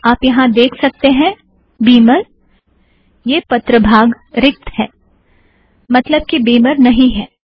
आप यहाँ देख सकतें हैं बीमर - यह पत्र भाग रिक्त है - मतलब कि बीमर नहीं है